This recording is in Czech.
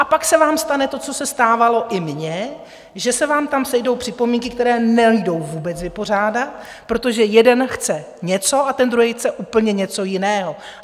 A pak se vám stane to, co se stávalo i mně, že se vám tam sejdou připomínky, které nejdou vůbec vypořádat, protože jeden chce něco a ten druhý chce úplně něco jiného.